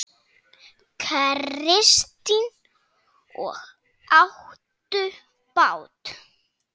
Kristín: Og áttu bát?